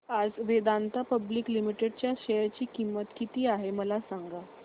आज Vedanta public limited च्या share ची किंमत किती आहे मला सांगा